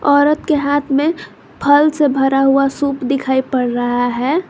औरत के हाथ में फल से भरा हुआ सूप दिखाई पड़ रहा है।